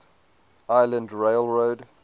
island rail road